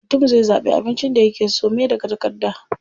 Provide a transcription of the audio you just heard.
Mutum zai zaɓi abincin da yake so me daga takarda.